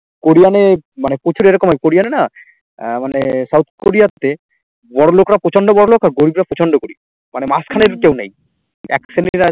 কোরিয়ানে মানে প্রচুর এরকম হয় কোরিয়ান এ না আহ মানে south কোরিয়াতে বড়ো লোকরা প্রচন্ড বড়ো লোক আর গরিবরা প্রচন্ড গরিব মানে মাঝখানে কেউ নেই এক শ্রেণীরা